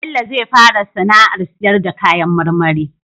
Bello zai fara sAna ar siyar na kayan marmari